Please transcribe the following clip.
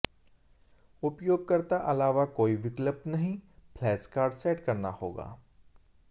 उपयोगकर्ता अलावा कोई विकल्प नहीं फ्लैश कार्ड सेट करना होगा